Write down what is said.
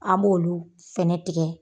An b'olu fɛnɛ tigɛ.